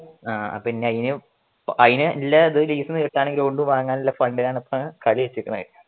ആ ഇപ്പൊ അയിന് അതിന് ഉള്ള ലീസിനു ബോണ്ട് വാങ്ങാനുള്ള ഫണ്ടിനാണ് ഇപ്പൊ കാളി വെച്ചേക്കണേ